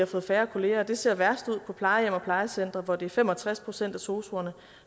fået færre kolleger og det ser værst ud på plejehjem og plejecentre hvor det er fem og tres procent af sosuerne